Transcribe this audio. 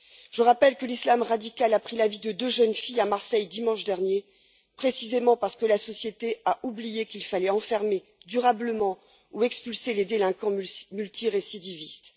Je rappelle que l'islam radical a pris la vie de deux jeunes filles à Marseille, dimanche dernier, précisément parce que la société a oublié qu'il fallait enfermer durablement ou expulser les délinquants multirécidivistes.